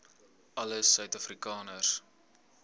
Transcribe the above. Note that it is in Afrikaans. alle suid afrikaners